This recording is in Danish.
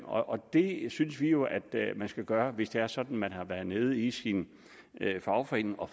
og det synes vi jo at man skal gøre hvis det er sådan at man har været nede i sin fagforening og